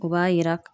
O b'a yira